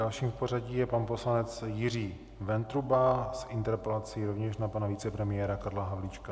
Dalším v pořadí je pan poslanec Jiří Ventruba s interpelací rovněž na pana vicepremiéra Karla Havlíčka.